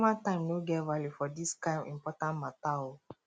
kostomer time no get value for dis kain important mata o